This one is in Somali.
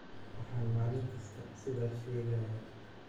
"Waxaan maalin kasta sidaas sheegayaa."